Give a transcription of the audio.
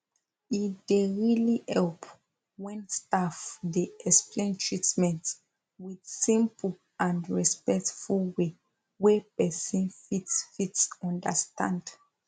e dey really help when staff dey explain treatment with simple and respectful way wey person fit fit understand